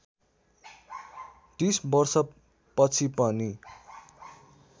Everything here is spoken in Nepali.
३० वर्षपछि पनि